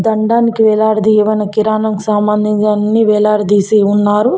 దండానికి వేలాడదీయబడిన కిరాణం సామానీ అన్ని వేలాడదీసి ఉన్నారు.